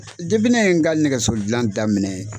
ne ye in ka nɛgɛso dilan daminɛ.